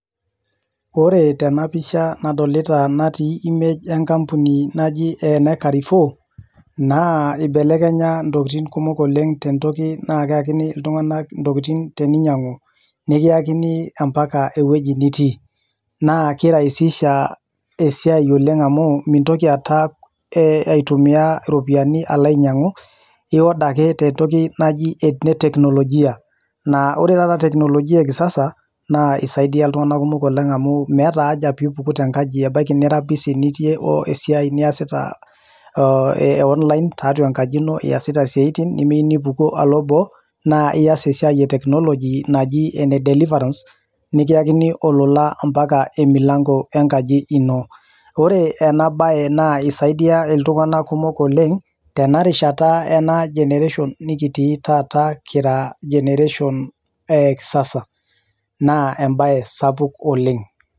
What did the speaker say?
Ore tenapisha nadolita natii image enkampuni naji ene Carrefour, naa ibelekenya intokiting kumok oleng tentoki naa keakini iltung'anak intokiting teninyang'u, nekiakini ampaka ewueji nitii. Naa kiraisisha esiai oleng amu mintoki aata aitumia iropiyiani alo ainyang'u, i order ake tentoki naji e teknolojia. Naa ore taata teknolojia e kisasa, naa isaidia iltung'anak kumok oleng amu meeta aja pipuku tenkaji. Ebaiki nitii busy nitii esiai niasita e online tatua enkaji ino, iasita isiaitin, nimiyu nipuku alo boo, naa ias esiai e technology naji ene deliverance, niakini olola ampaka emilanko enkaji ino. Ore enabae naa isaidia iltung'anak kumok oleng, tenarishata ena generation nikitii taata kera generation e kisasa. Naa ebae sapuk oleng.